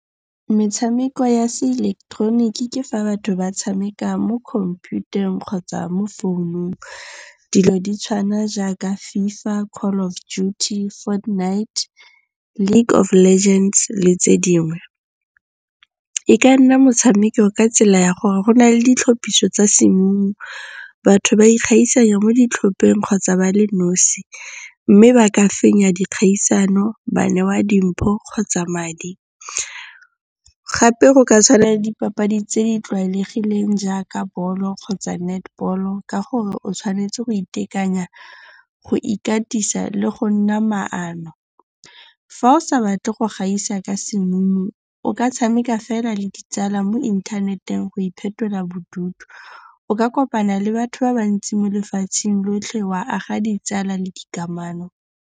Metshameko ya se ileketeroniki ke fa batho ba tshameka mo khomphutareng kgotsa mo founung. Dilo di tshwana jaaka Fifa, Call of Duty, Fortnite, League of Legends le tse dingwe. E ka nna motshameko ka tsela ya gore go na le ditlhapiso tsa simong, batho ba ikgaisa mo ditlhopheng kgotsa ba le nosi. Mme ba ka fenya dikgaisano, ba newa dimpho kgotsa madi. Gape go ka tshwana le dipapadi tse di tlwaelegileng jaaka ball-o kgotsa netball-o ka gore o tshwanetse go itekanya, go ikatisa le go nna maano. Fa o sa batle go gaisa ka simong, o ka tshameka fela le ditsala mo inthaneteng go iphetola bodutu. O ka kopana le batho ba bantsi mo lefatsheng lotlhe wa aga ditsala le dikamano.